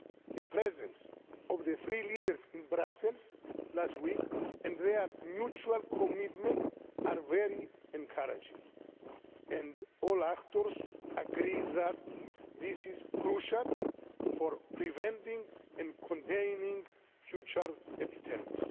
The presence of the three leaders in Brussels last week and their mutual commitment are very encouraging, and all actors agree that this is crucial for preventing and containing future epidemics.